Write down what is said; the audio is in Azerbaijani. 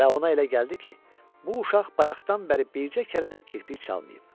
Və ona elə gəldi ki, bu uşaq bayaqdan bəri bircə kərə də kirpik çalmayıb.